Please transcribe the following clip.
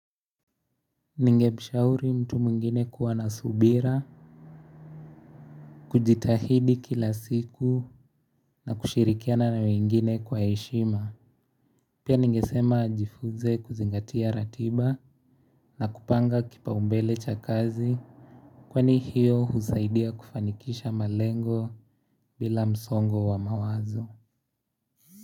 Ningekushauri mtu mwingine kuwa na subira, kujitahidi kila siku na kushirikiana na wengine kwa heshima. Pia ningesema jifunze kuzingatia ratiba na kupanga kipaumbele cha kazi. Kwani hiyo husaidia kufanikisha malengo bila msongo wa mawazo.